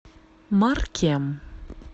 маркем